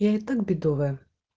я и так бедовая